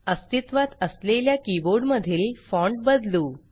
अस्तित्वात असलेल्या कीबोर्ड मधील फॉण्ट बदलू